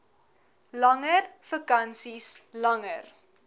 langer vakansies langer